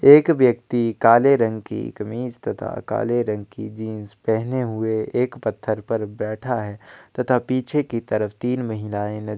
एक व्यक्ति काले रंग की कमीज तथा काले रंग की जींस पेहेने हुए एक पत्थर पर बैठा है तथा पीछे की तरफ तीन महिलाएँ द --